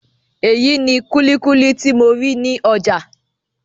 Eyi ni kulikuli ti mo ri ni ọjà.